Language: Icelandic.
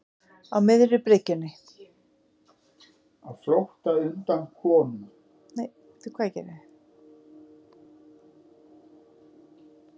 Á miðri bryggjunni.